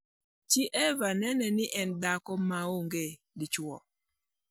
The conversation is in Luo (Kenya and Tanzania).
chi Eva nene ga ne en dhako maonge dichwo.